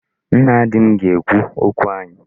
Nna di m ga-ekwu okwu anyị.